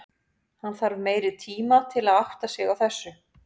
Hann þarf meiri tima til að átta sig á þessu.